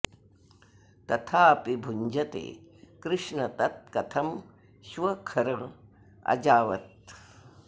तथा अपि भुञ्जते कृष्ण तत् कथं श्व खर अजावत्